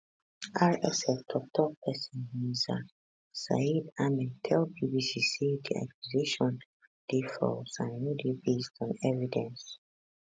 rsf toktok pesin nizar sayed ahmed tell bbc say di accusation dey false and no dey based on evidence